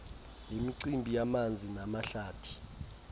lemicimbi yamanzi namahlathi